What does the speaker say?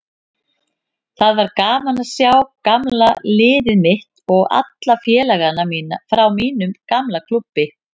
Það var gaman að sjá gamla liðið mitt og alla félagana frá mínum gamla klúbbi.